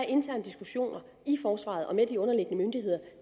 interne diskussioner i forsvaret og med de underliggende myndigheder